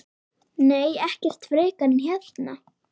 Nei, ekkert frekar en hérna.